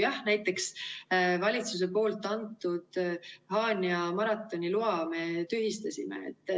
Jah, näiteks valitsuse poolt antud Haanja maratoni loa me tühistasime.